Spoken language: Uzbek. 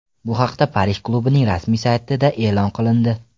Bu haqda Parij klubining rasmiy saytida e’lon qilindi .